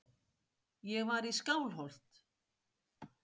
Ég var í Skálholt.